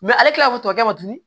ale kilala ka fɔ tɔ kɛ